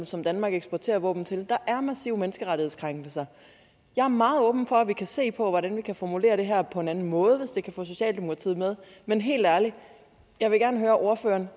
som danmark eksporterer våben til er massive menneskerettighedskrænkelser jeg er meget åben for at vi kan se på hvordan vi kan formulere det her på en anden måde hvis det kan få socialdemokratiet med men helt ærligt jeg vil gerne høre ordføreren